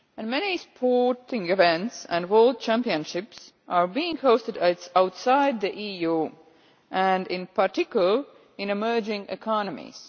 Many sporting events and world championships are being hosted outside the EU and, in particular, in emerging economies.